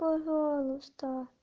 пожалуйста